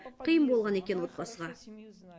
қиын болған екен отбасыға